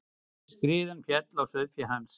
Skriðan féll á sauðféð hans.